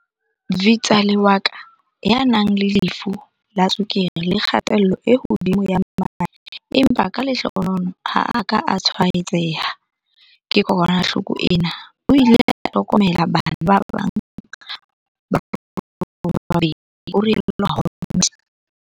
V tsale wa ka, ya nang le lefu la tswekere le kgatello e hodimo ya madi empa ka lehlohonolo ha a ka a tshwaetseha ke kokwanahloko ena, o ile a hlokomela bana ba bang ba rona ba babedi, ho rialo Mohammed.